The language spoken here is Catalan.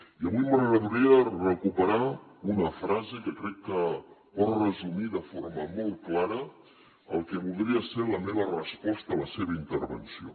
i avui m’agradaria recuperar una frase que crec que pot resumir de forma molt clara el que voldria ser la meva resposta a la seva intervenció